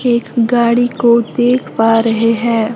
एक गाड़ी को देख पा रहे है।